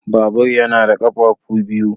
Babur yana da ƙafafu biyu.